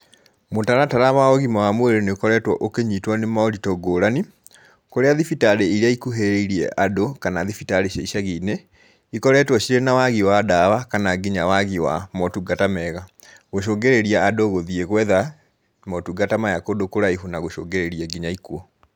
Mũtaratara wa ũgima wa mwĩrĩ nĩ ũkoretwo ũkĩnyitwo nĩ moritũ ngũrani, kũrĩa thibitari iria ikuhĩrĩirie andũ kana thibitari cia icagi-inĩ, ikoretwo ciĩna wagi wa dawa kana nginya wagi wa motungata mega, gũcũngĩrĩria andũ gũthiĩ gwetha motungata maya kũndũ kũraihu na gũcũngĩrĩria nginya ikuũ.